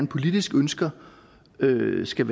politisk ønsker ønsker